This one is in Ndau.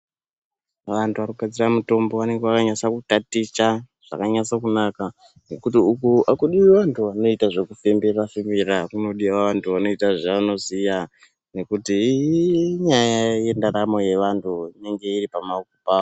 Vantu vanogadzira mutombo vange vakanyasa kutaticha zvakanyatsokunaka. Ngekuti uku hakudivi vantu vanoita zvekufembera-fembera kunodiva vantu vanoita zvavanoziya. Nekuti inyaya yendaramo yevantu inenge iri pama.